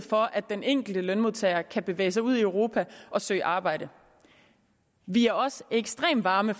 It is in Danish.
for at den enkelte lønmodtager kan bevæge sig ud i europa og søge arbejde vi er også ekstremt varme